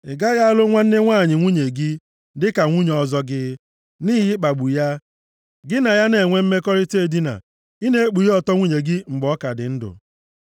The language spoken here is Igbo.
“ ‘Ị gaghị alụ nwanne nwanyị nwunye gị, dịka nwunye ọzọ gị, nʼihi ịkpagbu ya, gị na ya a na-enwe mmekọrịta edina, ị na-ekpughe ọtọ nwunye gị mgbe ọ ka dị ndụ.